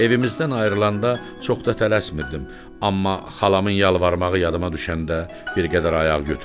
Evimizdən ayrılanda çox da tələsmirdim, amma xalamın yalvarmağı yadıma düşəndə bir qədər ayaq götürdüm.